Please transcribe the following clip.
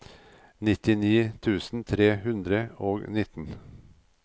nittini tusen tre hundre og nitten